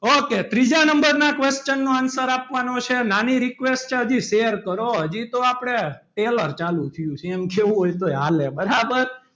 Okay ત્રીજા number નો question ના answer આપવાની છે નાની request છે હજી share કરો હજી તો આપણે trailer ચાલુ થિયું છે એમ કેવું હોય તો હોય હાલે બરાબર.